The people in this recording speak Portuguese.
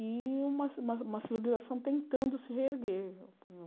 E uma civi uma civi uma civilização tentando se reerguer.